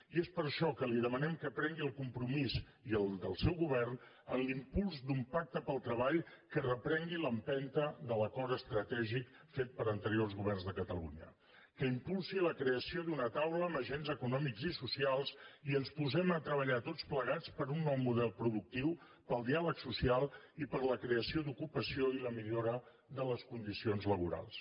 i és per això que li demanem que prengui el compromís i el del seu govern en l’impuls d’un pacte pel treball que reprengui l’empenta de l’acord estratègic fet per anteriors governs de catalunya que impulsi la creació d’una taula amb agents econòmics i socials i que ens posem a treballar tots plegats per un nou model productiu pel diàleg social i per la creació d’ocupació i la millora de les condicions laborals